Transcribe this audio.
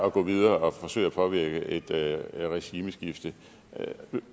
at gå videre og forsøge at påvirke et regimeskifte